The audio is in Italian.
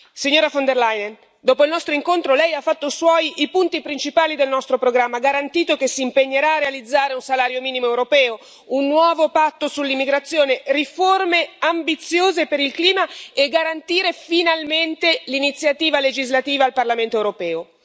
Signora von der Leyen, dopo il nostro incontro, Lei ha fatto Suoi i punti principali del nostro programma, ha garantito che si impegnerà a realizzare un salario minimo europeo, un nuovo patto sull'immigrazione, riforme ambiziose per il clima e garantire finalmente l'iniziativa legislativa al Parlamento europeo.